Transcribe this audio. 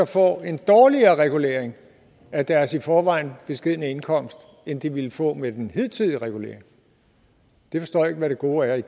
får en dårligere regulering af deres i forvejen beskedne indkomst end de ville få med den hidtidige regulering jeg forstår ikke hvad det gode